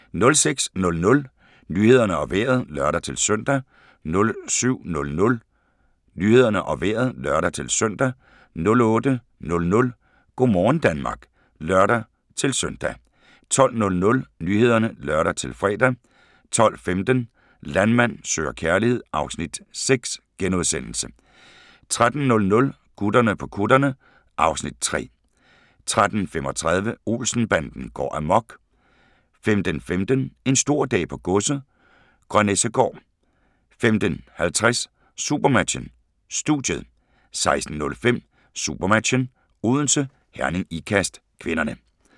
06:00: Nyhederne og Vejret (lør-søn) 07:00: Nyhederne og Vejret (lør-søn) 08:00: Go' morgen Danmark (lør-søn) 12:00: Nyhederne (lør-fre) 12:15: Landmand søger kærlighed (Afs. 6)* 13:00: Gutterne på kutterne (Afs. 3) 13:35: Olsen-banden går amok 15:15: En stor dag på godset - Grønnessegaard 15:50: SuperMatchen: Studiet 16:05: SuperMatchen: Odense - Herning-Ikast (k)